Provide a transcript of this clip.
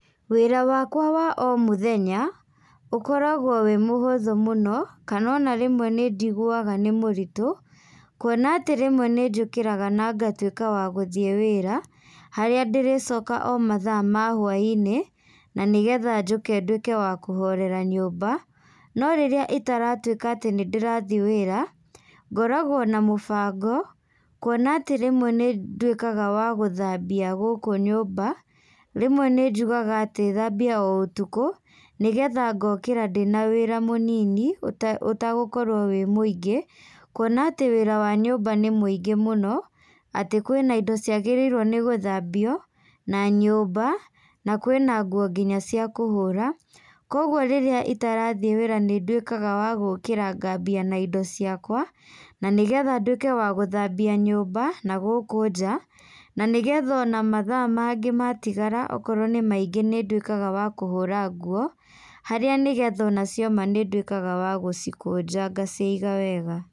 Wĩra wakwa wa o mũthenya, ũkoragwo wĩ mũhũthũ mũno, kana ona rĩmwe nĩnjiguaga nĩ mũritũ, kuona atĩ rĩmwe nĩnjũkĩraga na ngatuĩka wa gũthiĩ wĩra, harĩa ndĩrĩcoka mathaa ma hwainĩ, na nĩgetha njũke ndũĩke wa kũhorera nyũmba, no rĩrĩa itaratuĩka atĩ nĩndĩrathiĩ wĩra, ngoragwo na mũbango, kuona atĩ rĩmwe nĩndũĩkaga wa gũthambia gũkũ nyũmba, rĩmwe nĩnjugaga atĩ thambie o ũtukũ, nĩgetha ngokĩra ndĩna wĩra mũnini, ũte ũtagũkorwo wĩ mũingĩ, kuona atĩ wĩra wa nyũmba nĩ mũingĩ mũno, atĩ kwĩna indo ciagĩrĩirwo nĩ gũthambio, na nyũmba, na kwĩna nguo nginya cia kũhũra. Koguo rĩrĩa itarathiĩ wĩra nĩnduĩkaga wa gũkĩra ngambia na indo ciakwa, na nĩgetha nduĩke wa gũthambia nyũmba, na gũkũ nja, na nĩgetha ona mathaa mangĩ matigara, okorwo nĩ maingĩ nĩnduĩkaga wa kũhũra nguo, harĩa nĩgetha ona cioma nĩnduĩkaga wa gũcikũnja ngaciga wega.